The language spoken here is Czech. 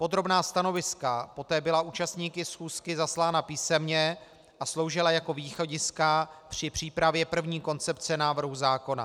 Podrobná stanoviska poté byla účastníky schůzky zaslána písemně a sloužila jako východiska při přípravě první koncepce návrhu zákona.